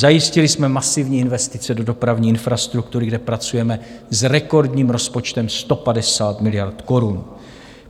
Zajistili jsme masivní investice do dopravní infrastruktury, kde pracujeme s rekordním rozpočtem 150 miliard korun.